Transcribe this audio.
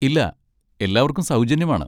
ഇല്ല, എല്ലാവർക്കും സൗജന്യമാണ്.